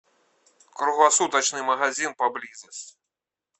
круглосуточный магазин поблизости